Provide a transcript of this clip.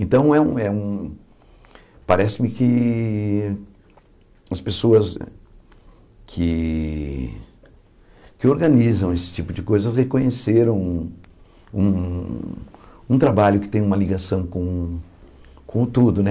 Então, é um é um parece-me que as pessoas que que organizam esse tipo de coisa reconheceram um um trabalho que tem uma ligação com o tudo, né?